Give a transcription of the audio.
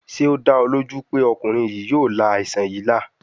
Ṣe o da ọ loju pe ọkunrin yii yoo la aisan yii la?